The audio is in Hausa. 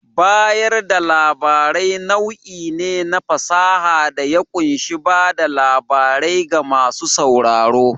Bayar da labarai nau'i ne na fasaha da ya ƙunshi bada labarai ga masu sauraro.